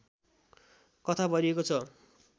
कथा भरिएको छ